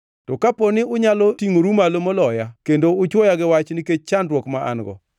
To kapo ni unyalo tingʼoru malo moloya kendo uchuoya gi wach nikech chandruok ma an-go,